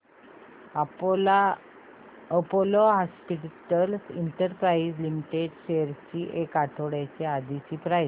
Apollo Hospitals Enterprise Limited shares ची एक आठवड्या आधीची प्राइस